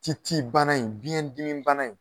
Ci ci bana in, biɲɛ dimi bana in